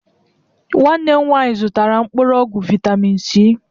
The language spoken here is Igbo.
Nwanne m nwanyị zụtara mkpụrụ ọgwụ vitamịn Si.